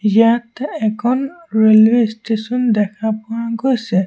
ইয়াত এখন railway station দেখা পোৱা গৈছে।